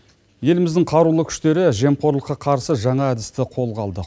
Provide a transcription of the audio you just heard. еліміздің қарулы күштері жемқорлыққа қарсы жаңа әдісті қолға алды